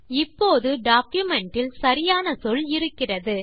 இப்போது டாக்குமென்ட் இல் சரியான சொல் இருக்கிறது